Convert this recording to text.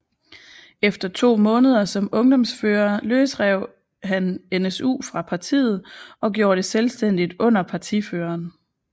Efter to måneder som ungdomsfører løsrev han NSU fra partiet og gjorde det selvstændigt under partiføreren